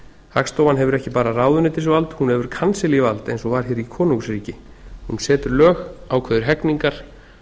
hagstofan hefur ekki bara ráðuneytisvald hún hefur kansel vald eins og var hér í konungsríki hún setur lög ákveður hegningar